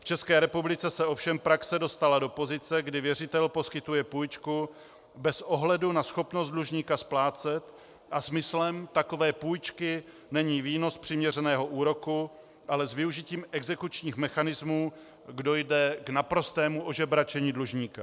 V České republice se ovšem praxe dostala do pozice, kdy věřitel poskytuje půjčku bez ohledu na schopnost dlužníka splácet a smyslem takové půjčky není výnos z přiměřeného úroku, ale s využitím exekučních mechanismů dojde k naprostému ožebračení dlužníka.